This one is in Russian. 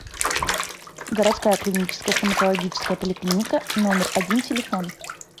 городская клиническая стоматологическая поликлиника номер один телефон